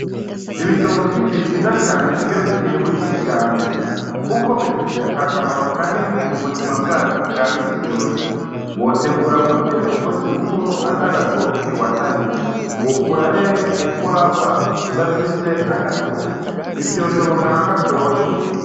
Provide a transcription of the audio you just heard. Ibitoki ni vyiza cane iyo, bitewe kijambere, kuko bifise akamaro ka nini mu buzima bwacu bwa misi yose wotegura gute umusi mukuru ata gatoki wataritse wokura hehe ugwagwa udafise agatoki ni vyoshobokana gatoyi.